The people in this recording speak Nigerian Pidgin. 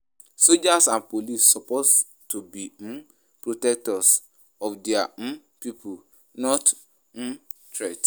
Soldiers and police suppose to be um protectors of di um people, not um threats.